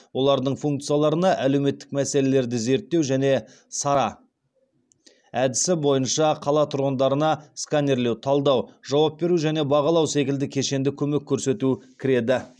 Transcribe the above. олардың функцияларына әлеуметтік мәселелерді зерттеу және сара әдісі бойынша қала тұрғындарына сканерлеу талдау жауап беру және бағалау секілді кешенді көмек көрсету кіреді